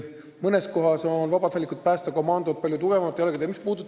Mõnes kohas on vabatahtlikud päästekomandod palju tugevamatel jalgadel kui teises kohas.